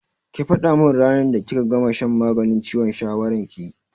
Ki faɗa min ranar da kika gama shan maganin ciwon shawaran ki!